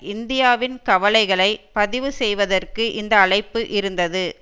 இந்தியாவின் கவலைகளை பதிவு செய்வதற்கு இந்த அழைப்பு இருந்தது